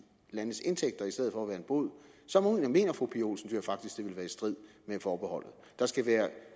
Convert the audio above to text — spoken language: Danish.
landenes indtægter i stedet for at være en bod så mener fru pia olsen dyhr faktisk at være i strid med forbeholdet der skal være